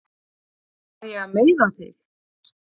Var ég að meiða þig?